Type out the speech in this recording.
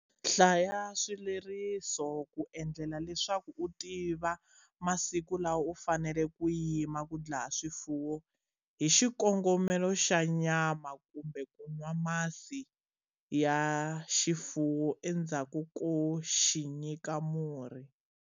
Hlaya swileriso ku endlela leswaku u tiva masiku lawa u faneleke ku yima ku dlaya xifuwo hi xikongomelo xa nyama kumbe ku nwa masi ya xifuwo endzhaku ko xi nyika murhi.